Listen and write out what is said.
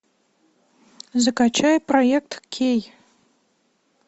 закачай проект кей